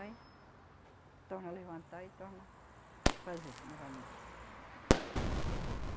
Aí, torna a levantar e torna fazer novamente.